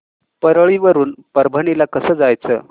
परळी वरून परभणी ला कसं जायचं